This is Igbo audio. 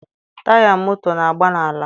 Taya moto na-agba n'ala.